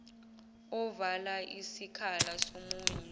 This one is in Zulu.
ovala isikhala somunye